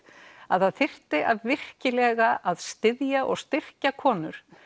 að það þyrfti virkilega að styðja við og styrkja konur